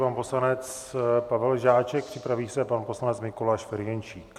Pan poslanec Pavel Žáček, připraví se pan poslanec Mikoláš Ferjenčík.